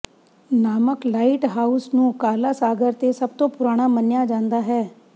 ਨਾਮਕ ਲਾਈਟਹਾਊਸ ਨੂੰ ਕਾਲਾ ਸਾਗਰ ਤੇ ਸਭ ਤੋਂ ਪੁਰਾਣਾ ਮੰਨਿਆ ਜਾਂਦਾ ਹੈ